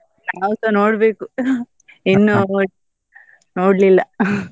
ನಾವ್ಸ ನೋಡ್ಬೇಕು ನೋಡ್ಲಿಲ್ಲ .